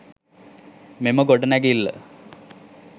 මෙම ගොඩනැගිල්ල